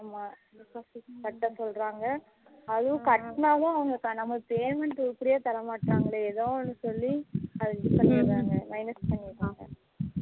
ஆமா deposit கட்ட சொல்லுறாங்க அதுவும் கட்டுனாதான் அவங்க நம்மளுக்கு payment உருபடியா தரமாட்றாங்களே ஏதோ ஒண்ணு சொல்லி அத இது பன்னிறாங்க minus பன்னிறாங்க